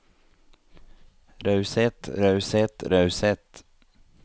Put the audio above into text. raushet raushet raushet